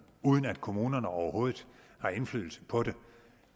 uden at kommunerne overhovedet har indflydelse på det